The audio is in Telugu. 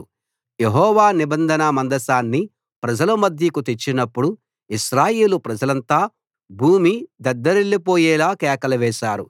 యెహోవా నిబంధన మందసాన్ని ప్రజల మధ్యకు తెచ్చినప్పుడు ఇశ్రాయేలు ప్రజలంతా భూమి దద్దరిల్లి పోయేలా కేకలు వేశారు